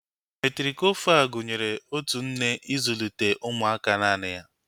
Metrikofal gụnyere otu nne ịzụlite ụmụaka naanị ya